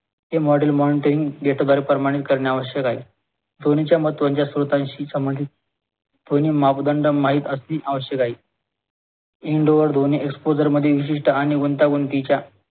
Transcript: हे model mountain प्रमाणे करणे आवश्यक आहे. ध्वनी च्या महत्वाच्या स्त्रोतांशी संबंधित ध्वनी मापदंड माहित असणे आवश्यक आहे indoor ध्वनी exposure मध्ये विशिष्ठ आणि गुंतागुंतीच्या